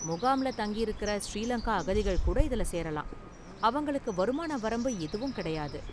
முகாம்ல தங்கியிருக்குற ஸ்ரீலங்கா அகதிகள் கூட இதுல சேரலாம், அவங்களுக்கு வருமான வரம்பு எதுவும் கிடையாது.